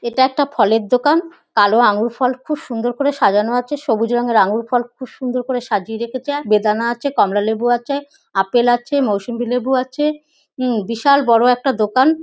এটা একটা ফলের দোকান। কালো আঙ্গুর ফল খুব সুন্দর করে সাজানো আছে। সবুজ রঙের আঙ্গুর ফল খুব সুন্দর করে সাজিয়ে রেখেছে। বেদানা আছে কমলালেবু আছে আপেল আছে মউসম্বি লেবু আছে। হু বিশাল বড়ো একটা দোকান।